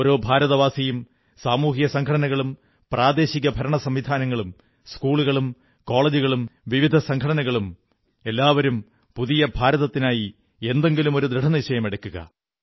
ഓരോ ഭാരതവാസിയും സാമൂഹിക സംഘടനകളും പ്രാദേശിക ഭരണസംവിധാനങ്ങളും സ്കൂളുകളും കോളജുകളും വിവിധ സംഘടനകളും എല്ലാവരും പുതിയ ഭാരതത്തിനായി എന്തെങ്കിലും ദൃഢനിശ്ചയമെടുക്കുക